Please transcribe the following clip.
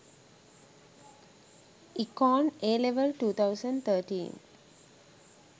econ AL 2013